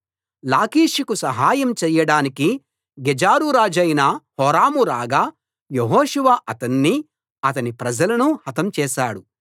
లాకీషుకు సహాయం చేయడానికి గెజెరు రాజైన హోరాము రాగా యెహోషువ అతన్నీ అతని ప్రజలనూ హతం చేశాడు